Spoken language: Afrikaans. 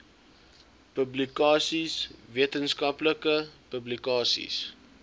publikasies wetenskaplike publikasies